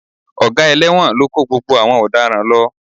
Ọ̀gá ẹlẹ́wọ̀n ló kó gbogbo àwọn ọ̀daràn lọ